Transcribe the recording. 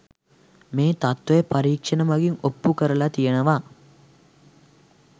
මේ තත්ත්වය පරීක්ෂණ මගින් ඔප්පු කරලා තියෙනවා